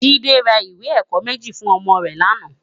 Jide rá iwé èkò méji fún òmò rè làná